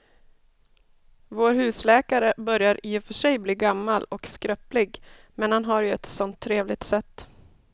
Vår husläkare börjar i och för sig bli gammal och skröplig, men han har ju ett sådant trevligt sätt!